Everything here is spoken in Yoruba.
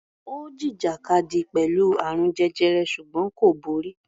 Ó jìjàkadì pẹ̀lú àrùn jẹjẹrẹ ṣùgbọ́n kò borí.